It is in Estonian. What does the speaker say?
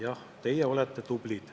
Jah, teie olete tublid.